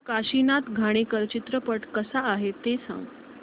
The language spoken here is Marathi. काशीनाथ घाणेकर चित्रपट कसा आहे ते सांग